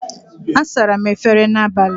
Asara m efere n'abalị.